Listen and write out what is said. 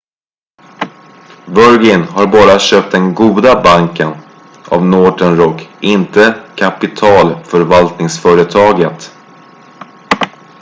"virgin har bara köpt den "goda banken" av northern rock inte kapitalförvaltningsföretaget.